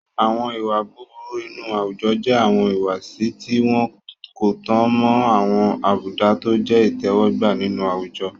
Àwọn ìwà búburú inú àwùjọ jẹ́ àwọn ìwùwàsí tí wọ́n kò tan mọ́ àwọn àbùdá tọ jẹ́ ìtẹ́wọ́gbà nínú àwùjọ.